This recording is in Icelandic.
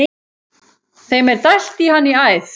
Þeim er dælt í hann í æð.